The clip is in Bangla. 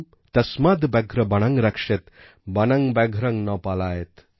তাস্মাদ ব্যাঘ্র বনং রকশেত বনং ব্যঘ্রং ন পালায়েৎ